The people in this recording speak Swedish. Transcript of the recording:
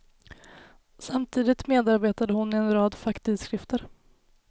Samtidigt medarbetade hon i en rad facktidskrifter.